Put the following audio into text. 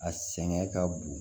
A sɛgɛn ka bon